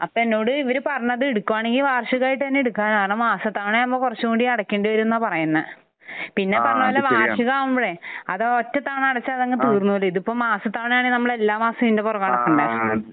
അപ്പോൾ എന്നോട് ഇവർ പറഞ്ഞത് എടുക്കുകയാണെങ്കിൽ വാർഷികമായിട്ട് തന്നെ എടുക്കാനാണ്. കാരണം മാസത്തവണയാകുമ്പോൾ കുറച്ച് കൂടി അടക്കേണ്ടി വരുമെന്നാണ് പറയുന്നത്. പിന്നെ പറയുന്നത് വാർഷികമാവുമ്പോഴേ അത് ഒറ്റത്തവണ അടച്ചാൽ അതങ്ങ് തീർന്നോളും. ഇത് ഇപ്പോൾ മാസത്തവയാണെങ്കിൽ നമ്മൾ എല്ലാ മാസവും ഇതിന്റെ പുറകെ നടക്കണ്ടേ.